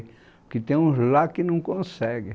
Porque tem uns lá que não conseguem.